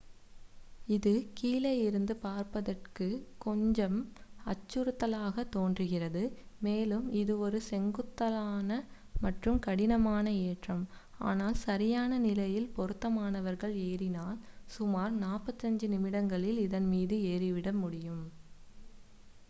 இது கீழே இருந்து பார்ப்பதற்குக் கொஞ்சம் அச்சுறுத்தலாகத் தோன்றுகிறது மேலும் இது ஒரு செங்குத்தான மற்றும் கடினமான ஏற்றம் ஆனால் சரியான நிலையில் பொருத்தமானவர்கள் ஏறினால் சுமார் 45 நிமிடங்களில் இதன்மீது ஏறிவிட முடியும்